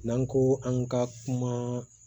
N'an ko an ka kuma